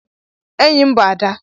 Enyim bu Ada